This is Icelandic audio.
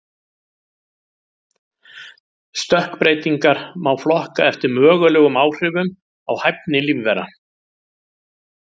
Stökkbreytingar má flokka eftir mögulegum áhrifum á hæfni lífvera.